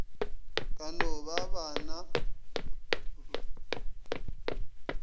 ka no ba ba na